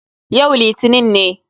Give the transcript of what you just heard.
Yau litinin ne.